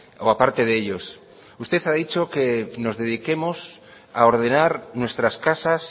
o a parte de ellos usted ha dicho que nos dediquemos a ordenar nuestras casas